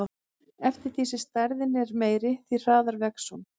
Eftir því sem stærðin er meiri, því hraðar vex hún.